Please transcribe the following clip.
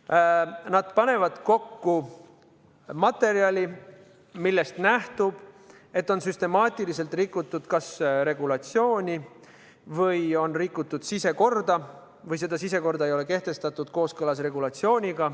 et nad panevad kokku materjali, millest nähtub, et on süstemaatiliselt rikutud kas regulatsiooni või on rikutud sisekorda või sisekorda ei ole kehtestatud kooskõlas regulatsiooniga.